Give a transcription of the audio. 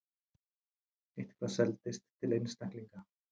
Eitthvað seldist til einstaklinga.